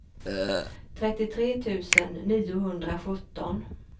trettiotre tusen niohundrasjutton